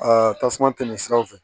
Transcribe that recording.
Aa tasuma tɛmɛsiraw fɛ